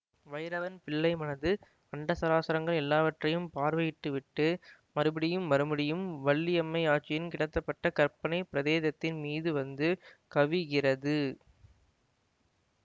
வைரவன் பிள்ளை மனது அண்டசராசரங்கள் எல்லாவற்றையும் பார்வையிட்டுவிட்டு மறுபடியும் மறுபடியும் வள்ளியம்மையாச்சியின் கிடத்தப்பட்ட கற்பனைப் பிரேதத்தின் மீது வந்து கவிகிறது